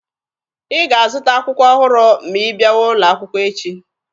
Ị ga-azụta akwụkwọ ọhụrụ ma ị bịawa ụlọ akwụkwọ echi!